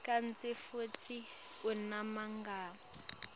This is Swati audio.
kantsi futsi unemagama